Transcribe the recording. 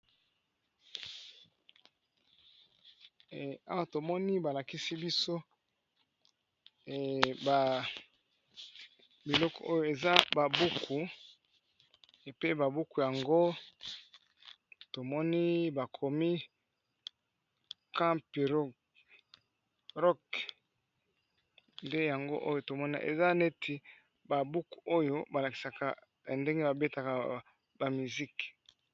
Awa tomoni balakisi biso biloko oyo eza ba buku pe ba buku yango tomoni bakomi campero rok nde yango oyo tomoni eza neti ba buku oyo balakisaka ndenge babetaka ba miziki.